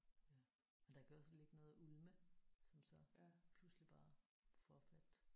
Ja og der kan også ligge noget og ulme som så pludselig bare får fat